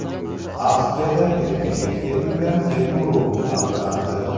Avstriyada erkinlikda yurgan kenguru aniqlandi .